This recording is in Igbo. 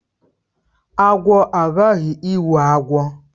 Agwo aghaghị ịwụ agwọ